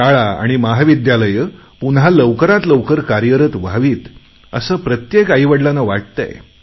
शाळा आणि महाविद्यालये पुन्हा लवकरात लवकर कार्यरत व्हावीत असे प्रत्येक आईवडिलांना वाटतंय